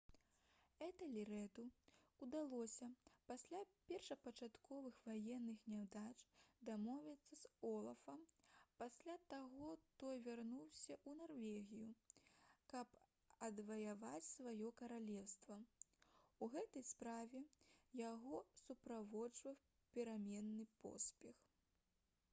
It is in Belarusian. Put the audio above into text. этэльрэду ўдалося пасля першапачатковых ваенных няўдач дамовіцца з олафам пасля чаго той вярнуўся ў нарвегію каб адваяваць сваё каралеўства у гэтай справе яго суправаджаў пераменны поспех